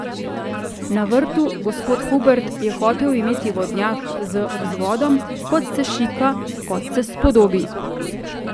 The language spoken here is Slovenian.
Na vrtu, gospod Hubert, je hotel imet vodnjak z vzvodom, kot se šika, kot se spodobi.